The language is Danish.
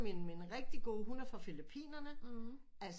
Mine rigtige gode hun er fra Filippinerne altså